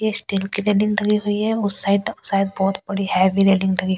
ये स्टील की रेलिंग लगी हुई है उस साइड शायद बहुत बड़ी हैवी रेलिंग लगी--